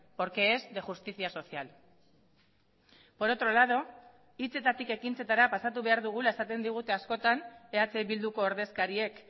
porque es de justicia social por otro lado hitzetatik ekintzetara pasatu behar dugula esaten digute askotan eh bilduko ordezkariek